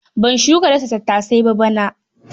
Ban shuka dasa tattasai ba bana.